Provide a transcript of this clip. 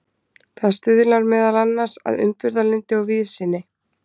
það stuðlar meðal annars að umburðarlyndi og víðsýni